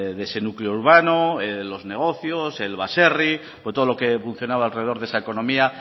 de ese núcleo urbano de los negocios el baserri o todo lo que funcionaba alrededor de esa economía